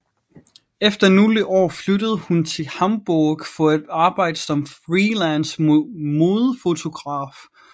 Efter nogle år flyttede hun til Hamburg for at arbejde som freelance modefotograf